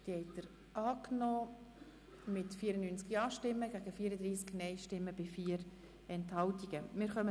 Sie haben dieser Änderung mit 94 Ja- gegen 34 Nein-Stimmen bei 4 Enthaltungen zugestimmt.